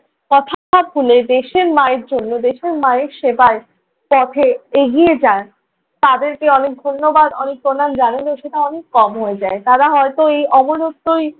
কথা ভুলে দেশের মায়ের জন্য দেশের মায়ের সেবার পথে এগিয়ে যায় তাদেরকে অনেক ধন্যবাদ অনেক প্রণাম জানালেও সেটা অনেক কম হয়ে যায়। তারা হয়তো এই অমরত্বই